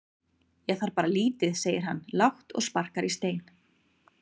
Ég þarf bara lítið segir hann lágt og sparkar í stein.